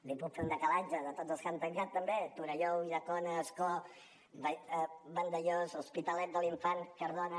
li puc fer una llista de tots els que han tancat també torelló ulldecona ascó vandellòs l’hospitalet de l’infant cardona